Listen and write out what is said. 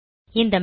இந்த மேனு